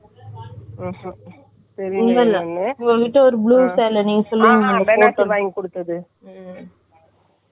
அதுல வந்துட்டு அதுல ஒருத்தன் separate டா border எப்படி ஒட்ட வச்சி தைச்சி இருந்தா எப்படி இருக்கும்.அந்த border மட்டும் எடுத்துட்டோம்ன்னா அந்த feel ளையும் கொடுத்து இருக்காங்க. நான் உங்களுக்கு .